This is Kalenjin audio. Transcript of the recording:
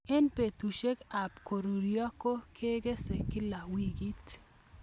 Eng' petushek ab korurio ko kigese kila wikit